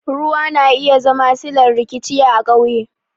Ruwa na iya zama sillar rikici a ƙauye